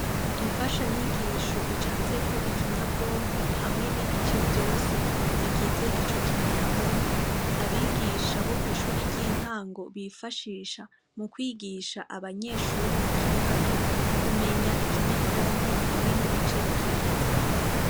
Imfashanyigisho icafyeko ikinyabwonko hamwe n'ibice vyose bw'ico kinyabwonko abigisha bo kw'ishuri ry'intango bifashisha mu kwigisha abanyeshure bakiri bato kumenya ikinyabwonko hamwe n'ibice bikigize.